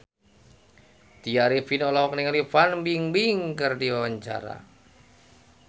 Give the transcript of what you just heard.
Tya Arifin olohok ningali Fan Bingbing keur diwawancara